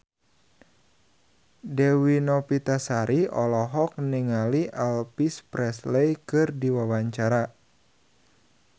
Dewi Novitasari olohok ningali Elvis Presley keur diwawancara